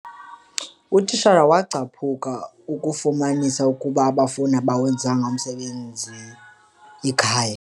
Utitshala wacaphukia akufumanisa ukuba abafundi abawenzanga umsebenzi ekhaya.